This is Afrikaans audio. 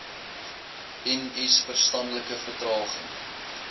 ms verstandelike vertraging